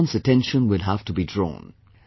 Everyone's attention will have to be drawn